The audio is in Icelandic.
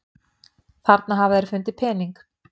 Þarna hafa þeir fundið pening.